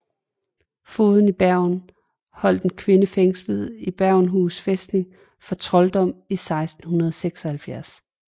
Fogden i Bergen holdt en kvinde fængslet på Bergenhus fæstning for trolddom i 1576